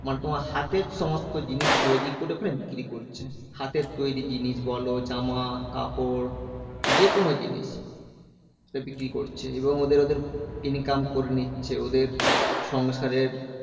মানে তোমার হাতের সমস্ত জিনিস তৈরী করে ওখানে বিক্রি করছে। হাতের তৈরী জিনিস বলো, জামা, কাপড় যেকোনো জিনিস বিক্রি করছে। এবং ওদের ওদের income করে নিচ্ছে। ওদের সংসারের